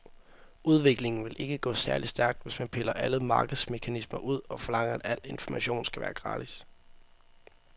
Udviklingen vil ikke gå særlig stærkt, hvis man piller alle markedsmekanismer ud og forlanger, at al information skal være gratis.